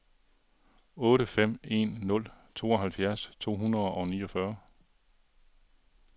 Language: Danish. otte fem en nul tooghalvfjerds to hundrede og niogfyrre